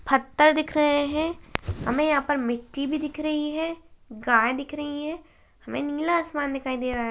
पत्थर दिख रहे हैं हमें यहाँ पर मिट्टी भी दिख रही है गाये दिख रही है हमे नीला आसमान दिखाई दे रहा है।